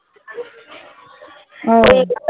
হ্যা